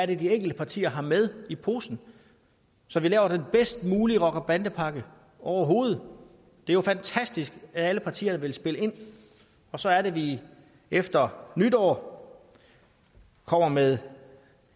det er de enkelte partier har med i posen så vi laver den bedst mulige rocker bande pakke overhovedet det er jo fantastisk at alle partier vil spille ind og så er det vi efter nytår kommer med